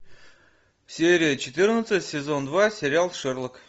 серия четырнадцать сезон два сериал шерлок